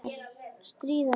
Stríða mér.